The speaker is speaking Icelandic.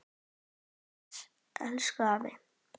Vertu bless, elsku afi.